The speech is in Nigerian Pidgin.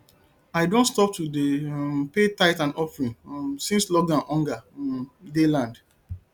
i don stop to dey um pay tithe and offering um since lockdown hunger um dey land